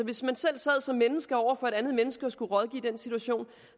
hvis man selv sad som menneske over for et andet menneske og skulle rådgive i den situation